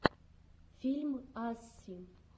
фильм асси